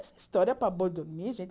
História para boi dormir, gente?